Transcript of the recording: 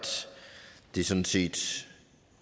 det sådan set